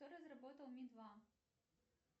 кто разработал ми два